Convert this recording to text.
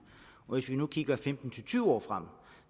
og hvis vi nu kigger femten til tyve år frem